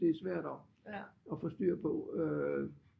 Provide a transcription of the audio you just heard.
Det er svært at få styr på øh